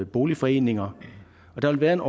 boligforeninger og der vil være en